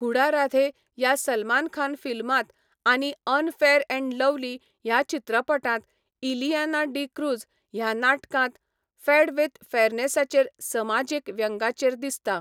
हुडा राधे ह्या सलमान खान फिल्मांत आनी अनफेयर अँड लव्हली ह्या चित्रपटांत इलियाना डी क्रूझ ह्या नाटकांत फॅड विथ फेयरनेसाचेर समाजीक व्यंग्याचेर दिसता.